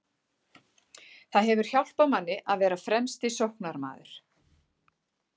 Það hefur hjálpað manni að vera fremsti sóknarmaður.